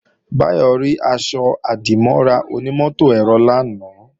Báyọ̀ rí aṣọ-àdìmọ́ra onímọ̀-ẹ̀rọ lánàá